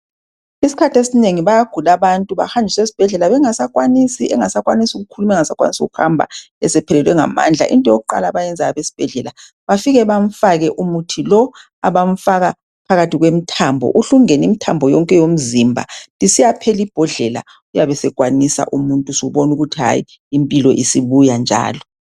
Isikhathi esinengi bayagula abantu, Bahanjiswe esibhedlela, bengasakwanisi. Engasakwanisi kukhuluma, engasakwanisi kuhamba. Esephelelwe ngamandla. Into yokuqala abafika bayenze esibhedlela. Bafika bamfake umuthi lo. Abafika bamfake phakathi kwemithambo. Uhle ungene imithambo yonke yomzimba. Isiyaphela ibhodlela, uyabesekwanisa umuntu. Usubona ukuthi impilo isibuya njalo,